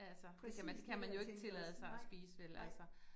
Altså det kan man det kan man jo ikke tillade sig at spise vel altså